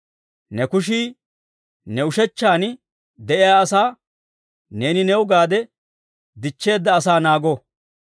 Ne kushii, ne ushechchan de'iyaa asaa, neeni new gaade dichcheedda asaa naago.